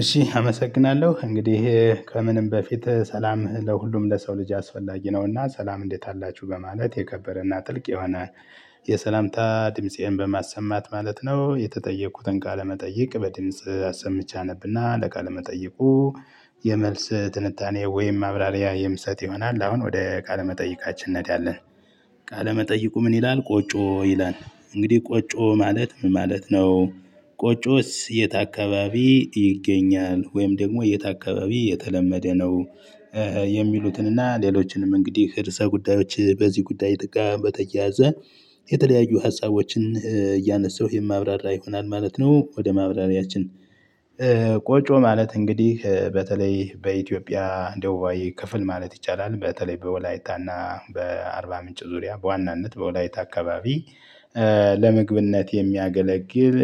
እሺ አመሰግናለሁ እንግዲህ ከምንም በፊት ሰላም ለሁሉም ለሰው ልጅ አስፈላጊ ነውና ሰላም እንዴት አላችሁ በማለት የከበረና ጥልቅ የሆነ የሰላምታ ድምፄን በማሰማት ማለት ነው የተጠየቁትን ቃለ መጠይቅ በድምጽ አሰምቼ አነብና ለቃለ መጠይቁ የመልስ ትንታኔ ወይም ማብራሪያ የምሰጥ ይሆናል አሁን ወደ ቃለመጠይቃችን እንሄዳለን። ቃለመጠይቁ ምን ይላል "ቆጮ" ይላል እንግዲህ ቆጮ ማለት ምን ማለት ነው? ቆጮስ የት አካባቢ ይገኛል? ወይም ደግሞ የት አካባቢ የተለመደ ነው? የሚሉትንና ሌሎችንም እንግዲህ ርዕሰ ጉዳዮች በዚህ ጉዳይ ጥጋ በተያያዘ የተለያዩ ሀሳቦችን እያነሳሁ የማብራራ ይሆናል ማለት ነው ወደ ማብራሪያችን። ቆጮ ማለት እንግዲህ በተለይ በኢትዮጵያ ደቡባዊ ክፍል ማለት ይቻላል በተለይ በወላይታ እና በአርባ ምንጭ ዙሪያ በዋናነት በወላይታ አካባቢ ለምግብነ የሚያገለግል